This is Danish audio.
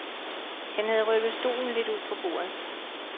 Han havde rykket stolen lidt ud fra bordet.